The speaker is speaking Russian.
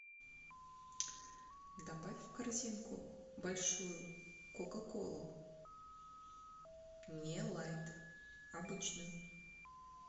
добавь в корзинку большую кока колу не лайт обычную